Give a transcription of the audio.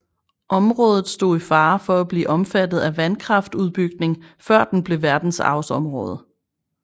Området stod i fare for at blive omfattet af vandkraftudbygning før det blev verdensarvsområde